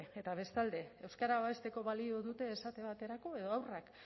eta bestalde euskara babesteko balio dute esate baterako edo haurrak